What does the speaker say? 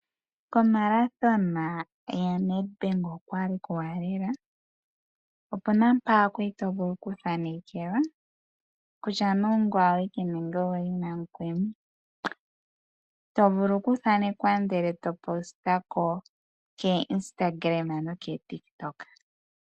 Kethigathano lyokutondoka lyaNedBank okwali kuuwanawa lela .Opuna mpa kwali to vulu okuthanekelwa kutya nee ongoye awike nenge ouli namukweni to vulu okuthanekwa efano eto li tula ko instagram nenge kotiktok.